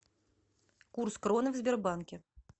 курс кроны в сбербанке